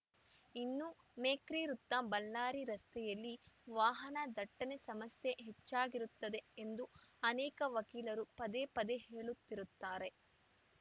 ಇನ್ನು ಮೇಖ್ರಿ ವೃತ್ತ ಬಳ್ಳಾರಿ ರಸ್ತೆಯಲ್ಲಿ ವಾಹನ ದಟ್ಟಣೆ ಸಮಸ್ಯೆ ಹೆಚ್ಚಾಗಿರುತ್ತದೆ ಎಂದು ಅನೇಕ ವಕೀಲರು ಪದೇ ಪದೇ ಹೇಳುತ್ತಿರುತ್ತಾರೆ